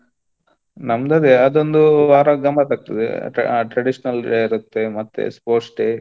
ನಮ್ದ್ ಅದೇ ಅದೊಂದು ವಾರ ಗಮ್ಮತ್ ಆಗ್ತದೆ ಆ traditional day ಇರತ್ತೆ ಮತ್ತೆ sports day .